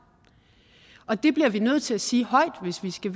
og det bliver vi nødt til at sige højt hvis vi skal